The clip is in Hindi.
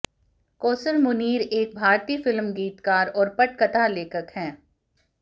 कौसर मुनीर एक भारतीय फिल्म गीतकार और पटकथा लेखक हैं